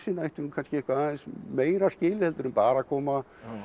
ættu kannski eitthvað meira skilið en bara að koma